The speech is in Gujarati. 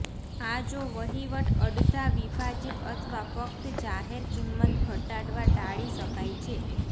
આ જો વહીવટ અડધા વિભાજિત અથવા ફક્ત જાહેર કિંમત ઘટાડવા ટાળી શકાય છે